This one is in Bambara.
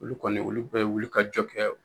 Olu kɔni ,olu bɛ wili ka jɔ kɛ